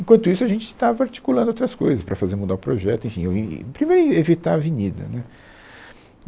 Enquanto isso a gente estava articulando outras coisas para fazer mudar o projeto, enfim, o e e primeiro éh evitar a avenida, né.